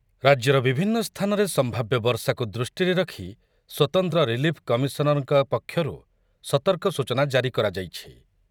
ରାଜ୍ୟର ବିଭିନ୍ନ ସ୍ଥାନରେ ସମ୍ଭାବ୍ୟ ବର୍ଷାକୁ ଦୃଷ୍ଟିରେ ରଖି ସ୍ୱତନ୍ତ୍ର ରିଲିଫ୍‌ କମିଶନରଙ୍କ ପକ୍ଷରୁ ସତର୍କ ସୂଚନା ଜାରି କରାଯାଇଛି ।